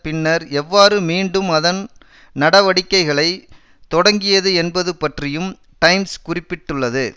பின்னர் எவ்வாறு மீண்டும் அதன் நடவடிக்கைகளை தொடங்கியது என்பது பற்றியும் டைம்ஸ் குறிப்பிட்டுள்ளது